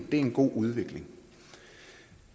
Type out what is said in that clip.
er en god udvikling